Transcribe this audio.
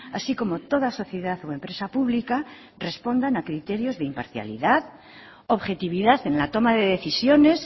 así como toda sociedad o empresa pública respondan a criterios de imparcialidad objetividad en la toma de decisiones